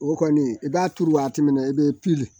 O kɔni i b'a turu waati min na i bɛ